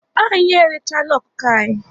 Anyị erechala ọkụkọ anyị.